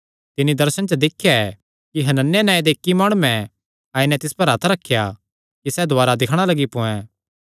तिन्नी दर्शने च दिख्या कि हनन्याह नांऐ दे इक्की माणुयैं आई नैं तिस पर हत्थ रखेया कि सैह़ दुवारी दिक्खणा लग्गी पोयैं